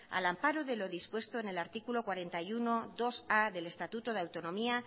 al amparo de lo dispuesto en el artículo cuarenta y unobia del estatuto de autonomía